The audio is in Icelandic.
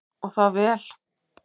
Og það vel.